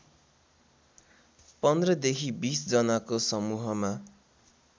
पन्ध्रदेखि बीसजनाको समूहमा